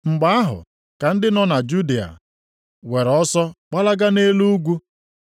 Mgbe ahụ, ka ndị nọ na Judịa were ọsọ gbalaga nʼelu ugwu.